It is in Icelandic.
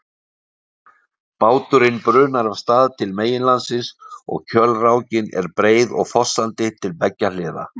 Báturinn brunar af stað til meginlandsins og kjölrákin er breið og fossandi til beggja hliða.